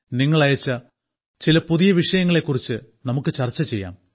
നിങ്ങൾ അയച്ച ചില പുതിയ വിഷയങ്ങളെ കുറിച്ച് നമുക്ക് ചർച്ച ചെയ്യാം